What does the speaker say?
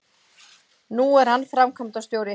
Nú er hann framkvæmdastjóri